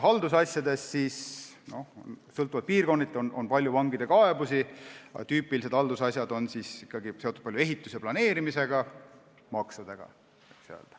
Haldusasjad: sõltuvalt piirkonnast on palju vangide kaebusi, aga tüüpilised haldusasjad on seotud ehituse ja planeerimisega ning maksudega.